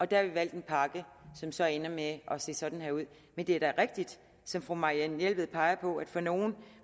der har vi valgt en pakke som så ender med at se sådan her ud men det er da rigtigt som fru marianne jelved peger på at for nogle